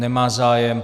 Nemá zájem.